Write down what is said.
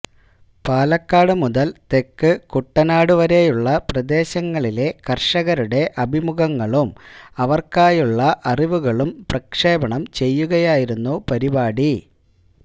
പാലക്കാട് മുതൽ തെക്ക് കുട്ടനാട് വരെയുള്ള പ്രദേശങ്ങളിലെ കർഷകരുടെ അഭിമുഖങ്ങളും അവർക്കായുള്ള അറിവികളും പ്രക്ഷേപണം ചെയ്യുകയായിരുന്നു പരിപാടി